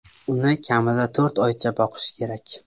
Uni kamida to‘rt oycha boqish kerak.